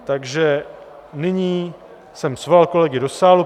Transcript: Takže nyní jsem svolal kolegy do sálu.